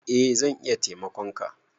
Eh zan iya taimakon ka